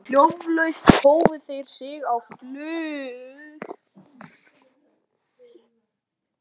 Hljóðlaust hófu þeir sig á flug.